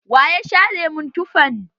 Wa ya sha lemon tufan?